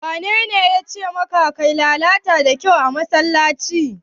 Wanene yace maka lalata da kyau a musulunci?